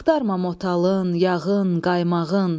Axtarma motalın, yağın, qaymağın.